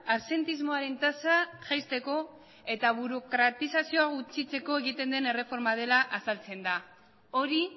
absentismoaren tasa jaisteko eta burokratizazioa gutxitzeko egiten den erreforma bat dela azaltzen da hori